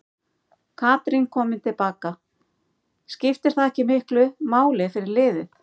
Katrín komin til baka, skiptir það ekki miklu máli fyrir liðið?